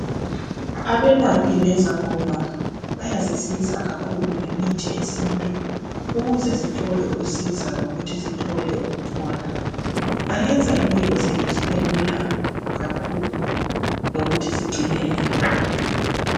Abelaphi lezangoma bayasisiza kakhulu ngemithi yesintu ukuze sithole ukusiza lokuthi sithole ukuphola. Bayenza impilo zethu zibe lula kakhulu lokuthi sigcine imvelo yethu